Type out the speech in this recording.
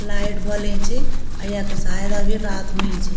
लाइट बलिं च अ यख शायद अभी रात हुईं च।